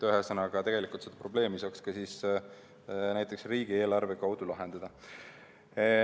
Ühesõnaga, tegelikult seda probleemi saaks ka näiteks riigieelarve kaudu lahendada.